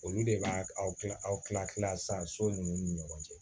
Olu de b'a aw kila aw tila tila sisan so ninnu ni ɲɔgɔn cɛ